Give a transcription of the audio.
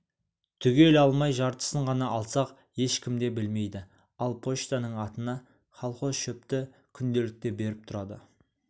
түгел алмай жартысын ғана алсақ ешкім де білмейді ал почтаның атына колхоз шөпті күнделікті беріп тұрады